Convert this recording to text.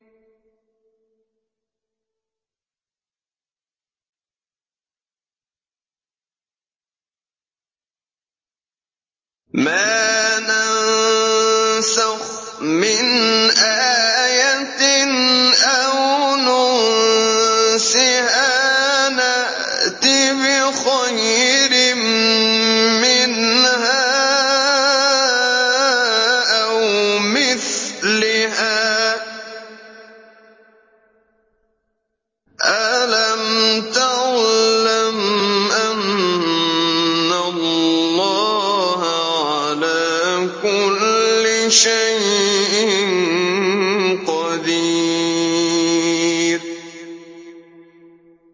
۞ مَا نَنسَخْ مِنْ آيَةٍ أَوْ نُنسِهَا نَأْتِ بِخَيْرٍ مِّنْهَا أَوْ مِثْلِهَا ۗ أَلَمْ تَعْلَمْ أَنَّ اللَّهَ عَلَىٰ كُلِّ شَيْءٍ قَدِيرٌ